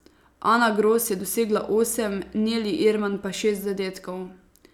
Ana Gros je dosegla osem, Neli Irman pa šest zadetkov.